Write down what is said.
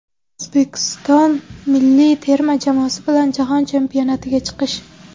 O‘zbekiston milliy terma jamoasi bilan Jahon Chempionatiga chiqish.